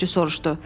Sürücü soruşdu.